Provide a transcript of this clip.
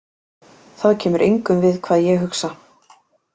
Það kemur engum við hvað ég hugsa.